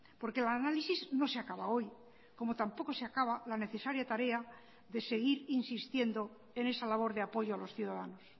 porque el análisis no se acaba hoy como tampoco se acaba la necesaria tarea de seguir insistiendo en esa labor de apoyo a los ciudadanos